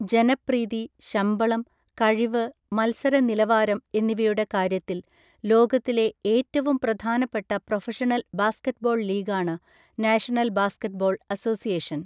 ജനപ്രീതി, ശമ്പളം, കഴിവ്, മത്സര നിലവാരം എന്നിവയുടെ കാര്യത്തിൽ ലോകത്തിലെ ഏറ്റവും പ്രധാനപ്പെട്ട പ്രൊഫഷണൽ ബാസ്കറ്റ്ബോൾ ലീഗാണ് നാഷണൽ ബാസ്കറ്റ്ബോൾ അസോസിയേഷൻ.